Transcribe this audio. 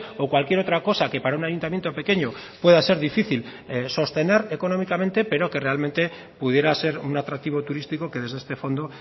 o cualquier otra cosa que para un ayuntamiento pequeño pueda ser difícil sostener económicamente pero que realmente pudiera ser un atractivo turístico que desde este fondo